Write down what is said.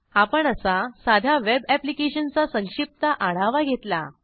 आपण असा साध्या वेब ऍप्लिकेशनचा संक्षिप्त आढावा घेतला